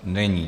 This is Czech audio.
Není.